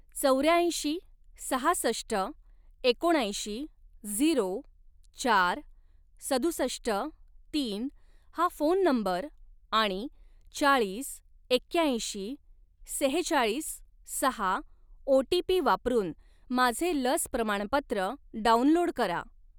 चौऱ्यांशी सहासष्ट एकोणऐंशी झिरो चार सदुसष्ट तीन हा फोन नंबर आणि चाळीस एक्याऐंशी सेहचाळीस सहा ओ टी पी वापरून माझे लस प्रमाणपत्र डाउनलोड करा.